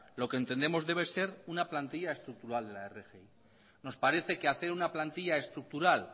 lo que entendemos debe ser una estructural de la rgi nos parece que hacer una plantilla estructural